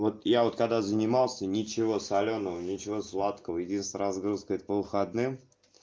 вот я вот когда занимался ничего солёного ничего сладкого единственная разгрузка это по выходным